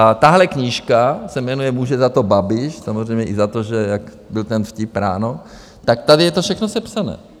A tahle knížka... se jmenuje Může za to Babiš, samozřejmě i za to, že jak byl ten vtip ráno, tak tady je to všechno sepsané.